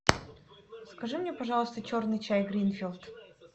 закажи мне пожалуйста черный чай гринфилд